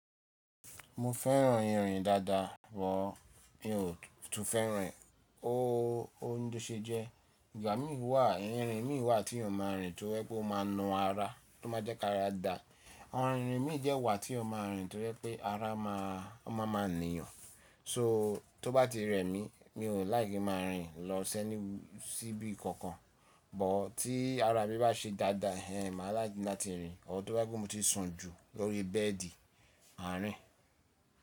Mo fẹ́ràn ìrìn dáadáa but mi ò tún fẹ́ràn e o ni tó ṣe jẹ. Ìgbà mí wà, ìrìn mí wà teeyan máa rìn to jé pé ó máa naa ara tó má jẹ́ kára dà. Awon irin mí de wa teeyan máa rìn to je pé ara má, ó má a máa nìyàn. So tó bá ti rẹ mí, mi ò like ki n máa rìn lọ si any, síbi kankan. But tí ara mi bá ṣe dáadáa, èéh, máa like láti rìn. Or tó bá je pe mó ti sùn jù lórí bẹ́ẹ̀dì máa rìn.